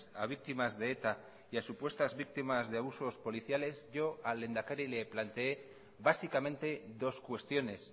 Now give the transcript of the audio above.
a víctimas de eta y a supuestas víctimas de abusos policiales yo al lehendakari le planteé básicamente dos cuestiones